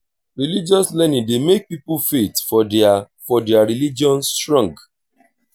religious learning dey make pipo faith for their for their religion strong